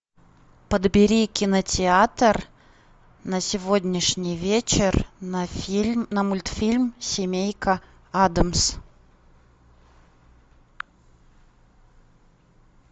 подбери кинотеатр на сегодняшний вечер на фильм на мультфильм семейка адамс